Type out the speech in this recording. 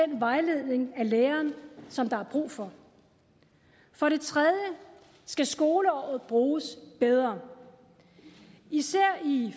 den vejledning af læreren som der er brug for for det tredje skal skoleåret bruges bedre især i